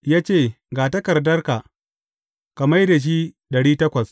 Ya ce, Ga takardarka, ka mai da shi ɗari takwas.’